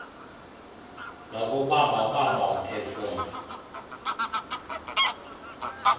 nokubamba bamba umphefumlo